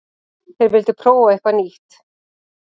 Þeir vildu prófa eitthvað nýtt.